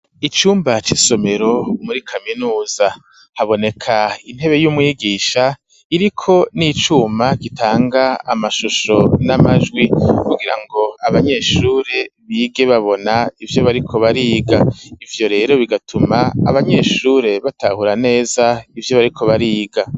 Icumba c'isomero muri kaminuza haboneka intebe y'umwigisha iriko n'icuma gitanga amashusho n'amajwi kugirango abanyeshure bige babona ivyo bariko bariga ivyo rero bigatuma abanyeshure batahura neza ivyo bariko bariga.